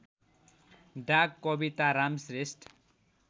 डा कविताराम श्रेष्ठ